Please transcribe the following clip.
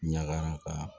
Ɲagara ka